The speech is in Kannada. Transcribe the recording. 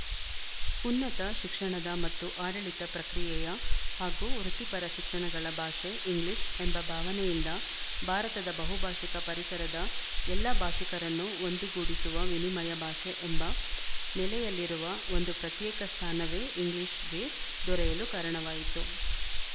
ಉನ್ನತ ಶಿಕ್ಷಣದ ಮತ್ತು ಆಡಳಿತ ಪ್ರಕ್ರಿಯೆಯ ಹಾಗೂ ವೃತ್ತಿಪರ ಶಿಕ್ಷಣಗಳ ಭಾಷೆ ಇಂಗ್ಲಿಶ ಎಂಬ ಭಾವನೆಯಿಂದ ಭಾರತದ ಬಹುಭಾಶಿಕ ಪರಿಸರದ ಎಲ್ಲ ಭಾಶಿಕರನ್ನು ಒಂದುಗೂಡಿಸುವ ವಿನಿಮಯ ಭಾಷೆ ಎಂಬ ನೆಲೆಯಲ್ಲಿರುವ ಒಂದು ಪ್ರತ್ಯೇಕ ಸ್ಥಾನವೇ ಇಂಗ್ಲಿಶ‍ಗೆ ದೊರೆಯಲು ಕಾರಣವಾಯಿತು